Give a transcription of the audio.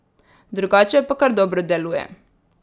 Drugače pa kar dobro deluje.